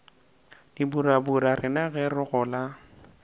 dipurabura rena ge re gola